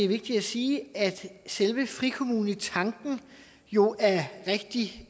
vigtigt at sige at selve frikommunetanken jo er rigtig